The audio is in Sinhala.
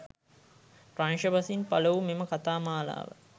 ප්‍රංශ බසින් පළවූ මෙම කතා මාලාව